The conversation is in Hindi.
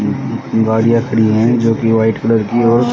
गाड़ियाँ खड़ी हैं जोकि वाइट कलर की और--